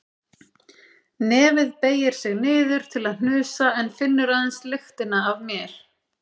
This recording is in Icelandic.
Nefið beygir sig niður til að hnusa en finnur aðeins lyktina af mér.